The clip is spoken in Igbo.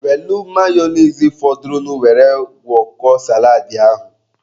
Welụ mayonise fọdụrụ were gwọkọọ saladị ahụ.